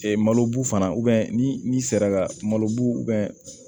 malo b fana ni sera ka malobu